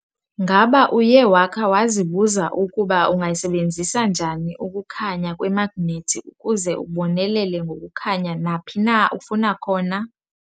Ngaba uye wakha wazibuza ukuba ungayisebenzisa njani ukukhanya kwemagnethi ukuze ubonelele ngokukhanya naphi na ufuna khona?